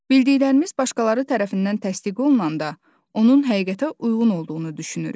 Bildiklərimiz başqaları tərəfindən təsdiq olunanda, onun həqiqətə uyğun olduğunu düşünürük.